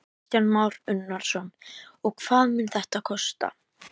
Kristján Már Unnarsson: Og hvað mun þetta kosta?